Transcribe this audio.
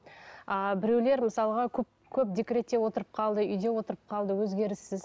ыыы біреулер мысалға көп көп декретте отырып қалды үйде отырып қалды өзгеріссіз